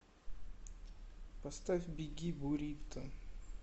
поставь беги бурито